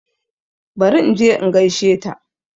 Bari inje in gaishe ta